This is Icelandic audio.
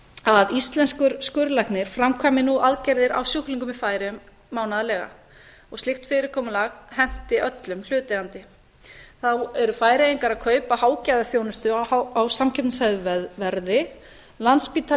að íslenskur skurðlæknir framkvæmir nú aðgerðir á sjúklingum í færeyjum mánaðarlega og slíkt fyrirkomulag henti öllum hlutaðeigandi þá eru færeyingar að kaupa hágæðaþjónustu á samkeppnishæfu verði landspítali